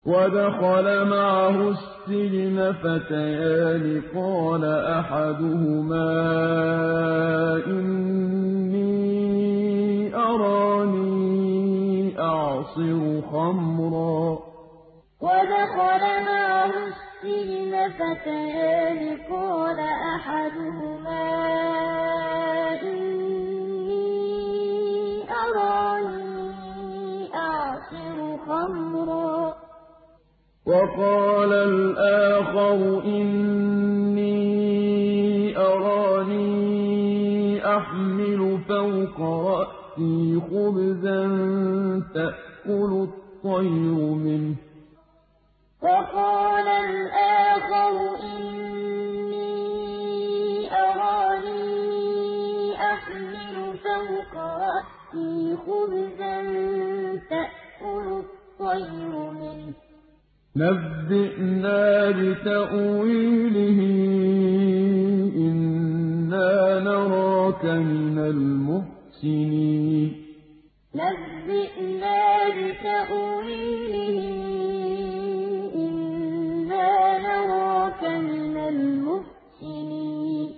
وَدَخَلَ مَعَهُ السِّجْنَ فَتَيَانِ ۖ قَالَ أَحَدُهُمَا إِنِّي أَرَانِي أَعْصِرُ خَمْرًا ۖ وَقَالَ الْآخَرُ إِنِّي أَرَانِي أَحْمِلُ فَوْقَ رَأْسِي خُبْزًا تَأْكُلُ الطَّيْرُ مِنْهُ ۖ نَبِّئْنَا بِتَأْوِيلِهِ ۖ إِنَّا نَرَاكَ مِنَ الْمُحْسِنِينَ وَدَخَلَ مَعَهُ السِّجْنَ فَتَيَانِ ۖ قَالَ أَحَدُهُمَا إِنِّي أَرَانِي أَعْصِرُ خَمْرًا ۖ وَقَالَ الْآخَرُ إِنِّي أَرَانِي أَحْمِلُ فَوْقَ رَأْسِي خُبْزًا تَأْكُلُ الطَّيْرُ مِنْهُ ۖ نَبِّئْنَا بِتَأْوِيلِهِ ۖ إِنَّا نَرَاكَ مِنَ الْمُحْسِنِينَ